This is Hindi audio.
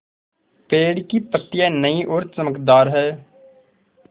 पेड़ की पतियां नई और चमकदार हैँ